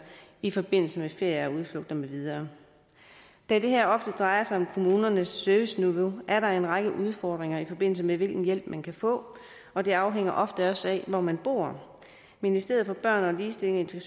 i forbindelse med ferie og udflugter med videre da det her drejer sig om kommunernes serviceniveau er der ofte en række udfordringer i forbindelse med hvilken hjælp man kan få og det afhænger ofte også af hvor man bor ministeriet for børn ligestilling